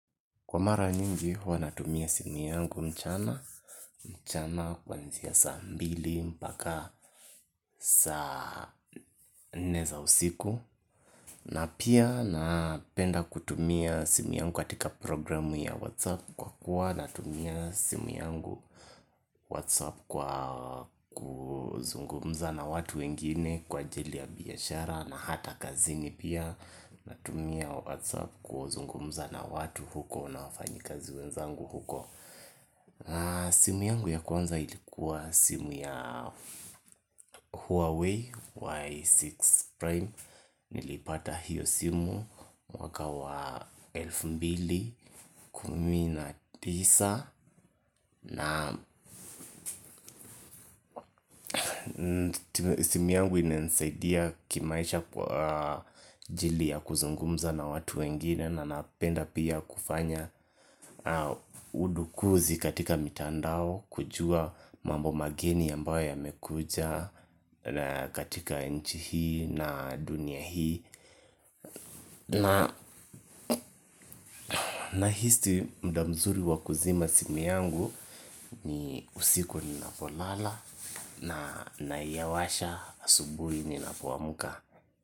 Kwa mara nyingi huwa natumia simu yangu mchana, mchana kwanzia saa mbili, mpaka saa nne za usiku na pia napenda kutumia simu yangu katika programu ya whatsapp kwa kuwa natumia simu yangu whatsapp kwa kuzungumza na watu wengine kwa ajili ya biashara na hata kazini pia natumia whatsapp ku zungumza na watu huko na wafanyikazi wenzangu huko simu yangu ya kwanza ilikuwa simu ya Huawei Y6 Prime. Nilipata hiyo simu mwaka wa elfu mbili kumina tisa na simu yangu imensaidia kimaisha kwa ajili ya kuzungumza na watu wengine na napenda pia kufanya udakuzi katika mitandao kujua mambo mageni ambayo yamekuja katika nchi hii na dunia hii nahisi muda mzuri wa kuzima simu yangu ni usiku ninapolala na naiyawasha asubuhi ninapoamka.